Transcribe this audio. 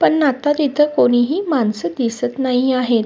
पण आता तिथ कोणी ही माणस दिसत नाही आहेत.